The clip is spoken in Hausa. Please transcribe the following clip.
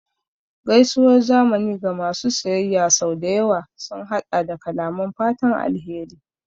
Gaisuwar zamani ga masu siyayya sau da yawa sun haɗa da kalaman fatan alheri